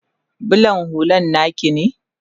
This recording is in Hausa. bulan hullan naki ne?